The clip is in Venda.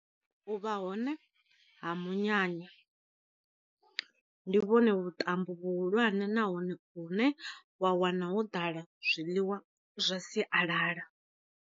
U vha hone ha munyanya, ndi vhone vhu ṱambo vhu hulwane nahone u ne wa wana ho ḓala zwiḽiwa zwa sialala.